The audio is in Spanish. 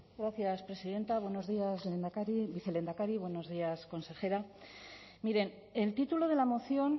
gracias presidenta buenos días lehendakari vicelehendakari buenos días consejera miren el título de la moción